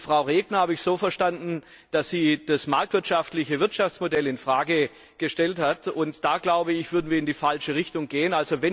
Frau Regner habe ich so verstanden, dass sie das marktwirtschaftliche Wirtschaftsmodell in Frage gestellt hat. Da würden wir in die falsche Richtung gehen.